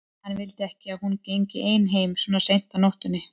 Hann vildi ekki að hún gengi ein heim svona seint á nóttunni.